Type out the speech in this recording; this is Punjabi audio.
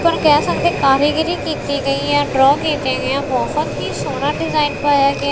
ਉਪਰ ਕਹਿ ਸਕਦੇ ਕਾਰੀਗਰੀ ਕੀਤੀ ਗਈ ਹੈ ਡਰਾ ਕੀਤੀ ਗਈ ਆ ਬਹੁਤ ਹੀ ਸੋਹਣਾ ਡਿਜ਼ਾਇਨ ਪਾਇਆ ਗਿਆ--